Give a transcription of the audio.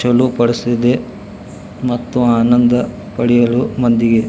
ಚಲು ಪಡಿಸಿದೆ ಮತ್ತು ಆನಂದ್ ಪಡೆಯಲು ಮಂದಿಗೆ.